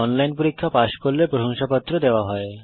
online পরীক্ষা pass করলে প্রশংসাপত্র দেওয়া হয়